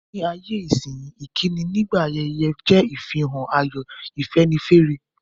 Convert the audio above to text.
Ní ayé-isínyí, ìkíni nígbà ayẹyẹ je ìfihàn ayọ̀, ìfẹ́nifẹ́re.